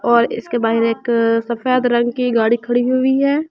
और इसके बाहर एक सफेद रंग की गाड़ी खड़ी हुई है।